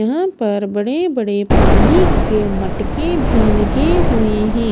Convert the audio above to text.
यहां पर बड़े बड़े पानी के मटके भी लगे हुए हैं।